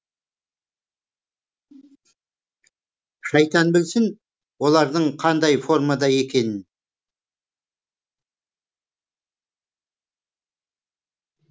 шайтан білсін олардың қандай формада екенін